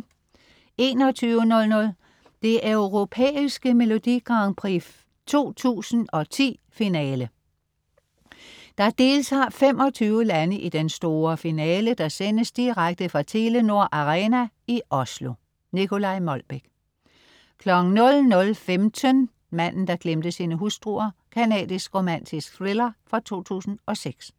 21.00 Det Europæiske Melodi Grand Prix 2010, finale. Der deltager 25 lande i den store finale, der sendes direkte fra Telenor Arena i Oslo. Nicolai Molbech 00.15 Manden der glemte sine hustruer. Canadisk romantisk thriller fra 2006